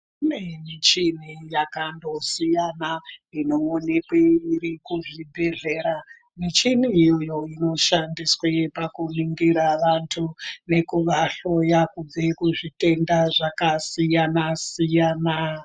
Kune michini yakandosiyana inoonekwe iri kuzvibhedhlera, michini iyoyo inoshandiswe pakuningira vantu nekuvahloya kubve kuzvitenda zvakasiyana siyana.